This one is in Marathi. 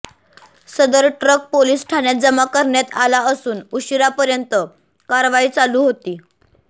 सदर ट्रक पोलीस ठाण्यात जमा करण्यात आला असून उशिरापर्यंत कारवाई चालू होती